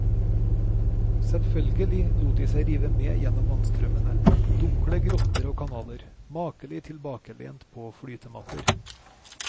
Selvfølgelig lot de seg rive med gjennom vannstrømmende, dunkle grotter og kanaler, makelig tilbakelent på flytematter.